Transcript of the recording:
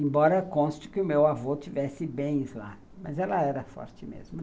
Embora conste que o meu avô tivesse bens lá, mas ela era forte mesmo.